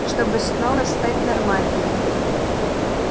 чтобы снова стать нормальным